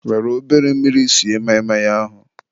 were obere mmiri sie maị maị ahụ.